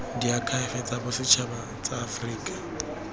diakhaefe tsa bosetšhaba tsa aforika